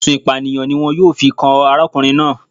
Ẹ̀sùn Ìpànìyàn ni wọn yóò fi kan arákùnrin náà